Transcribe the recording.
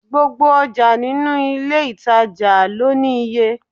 Gbogbo ọjà nínú ilé ìtàjà lọ ní iye.